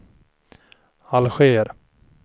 Alger